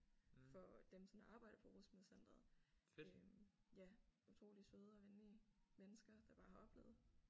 For dem som arbejder på rusmiddelcenteret øh ja utrolig søde og venlige mennesker der bare har oplevet